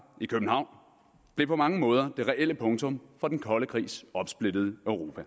i københavn blev på mange måder det reelle punktum for den kolde krigs opsplittede europa